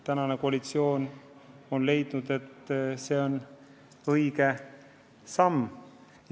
Praegune koalitsioon on leidnud, et see on õige samm.